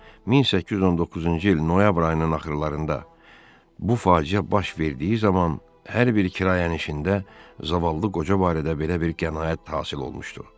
1819-cu il noyabr ayının axırlarında bu faciə baş verdiyi zaman hər bir kirayənişində zavallı qoca barədə belə bir qənaət hasil olmuşdu.